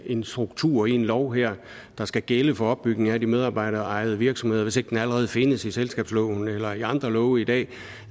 en struktur i en lov her der skal gælde for opbygning af de medarbejderejede virksomheder hvis ikke den allerede findes i selskabsloven eller i andre love i dag